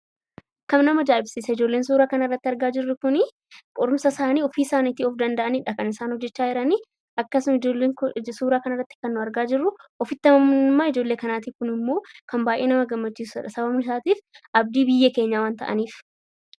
Ijoolleen suuraa kanarratti arginu qorumsa isaanii ofii of danda'aniidha kan isaan hojjachaa jiranii. Akkasuma ijoolleen nuti argaa jirru ofitti amanamummaa ijoollee kanaati. Kunimmoo baay'ee nama gammachiisa sababiin isaa abdii biyya keenyaa waan ta'aniif.